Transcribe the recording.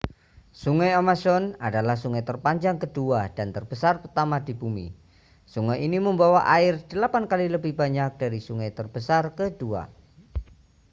sungai amazon adalah sungai terpanjang kedua dan terbesar pertama di bumi sungai ini membawa air 8x lebih banyak dari sungai terbesar kedua